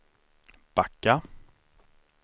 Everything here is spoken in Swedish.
backa